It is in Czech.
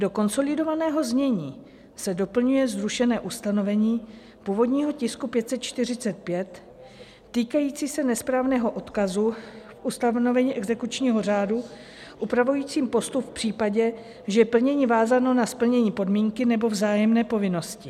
Do konsolidovaného znění se doplňuje zrušené ustanovení původního tisku 545 týkající se nesprávného odkazu v ustanovení exekučního řádu upravujícím postup v případě, že je plnění vázáno na splnění podmínky nebo vzájemné povinnosti.